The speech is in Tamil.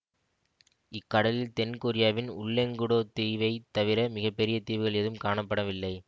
இக்கடலில் தென் கொரியாவின் உல்லெங்குடோ தீவைத் தவிர மிக பெரிய தீவுகள் எதுவும் காணப்படவில்லை